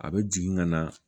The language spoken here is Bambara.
A bɛ jigin ka na